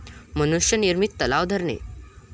मनुष्य निर्मित तलाव, धरणे